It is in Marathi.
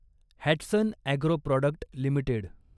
Hatsun agro product limited